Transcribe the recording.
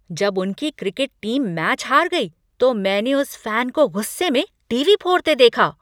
जब उनकी cricket team match हार गई तो मैंने उस फैन को गुस्से में टीवी फोड़ते देखा।